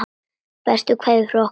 Bestu kveðjur frá okkur Marie.